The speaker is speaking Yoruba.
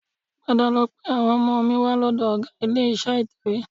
Padà lọ pe àwọn ọmọ mi wá lọ́dọ̀ ọgá ilé-iṣẹ́ ìtẹ̀wé